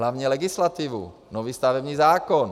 Hlavně legislativu, nový stavební zákon.